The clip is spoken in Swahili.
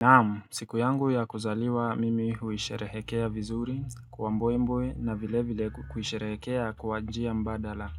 Naam, siku yangu ya kuzaliwa mimi huisherehekea vizuri kwa mbwembwe na vile vile kuisherehekea kwa njia mbadala